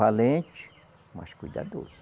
Valente, mas cuidadoso.